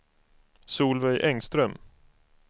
Solveig Engström